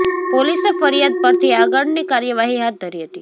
પોલીસે ફરિયાદ પરથી આગળની કાર્યવાહી હાથ ધરી હતી